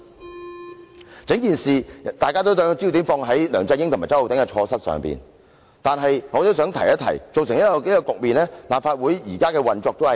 在整件事情上，大家都把焦點放在梁振英和周浩鼎議員的錯失上，但我也想提出一點：造成這個局面的其中一個原因，是立法會現時的運作。